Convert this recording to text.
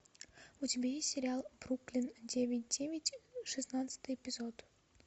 у тебя есть сериал бруклин девять девять шестнадцатый эпизод